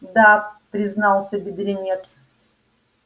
да признался бедренец